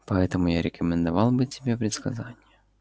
поэтому я рекомендовал бы тебе предсказания